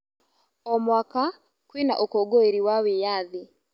O mwaka, kwĩna ũkũngũĩri wa wĩyathi.